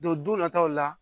Don don nataw la